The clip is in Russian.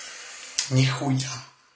нихуя